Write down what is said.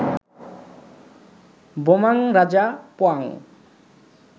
বোমাং রাজা পোয়াং